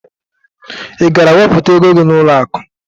Ị gara wepụta ego gị n'ụlọakụ?